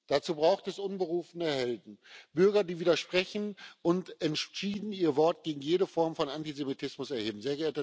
Dazu braucht es unberufene Helden Bürger, die widersprechen und entschieden ihr Wort gegen jede Form von Antisemitismus erheben.